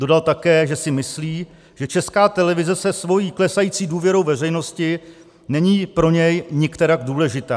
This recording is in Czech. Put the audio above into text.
Dodal také, že si myslí, že Česká televize se svou klesající důvěrou veřejnosti není pro něj nikterak důležitá.